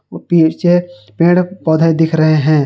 वो पीछे पेड़ पौधे दिख रहे हैं।